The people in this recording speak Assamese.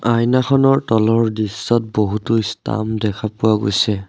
আয়নাখনৰ তলৰ দৃশ্যত বহুতো স্তাম্প দেখা পোৱা গৈছে।